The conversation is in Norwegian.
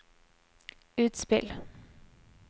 utspill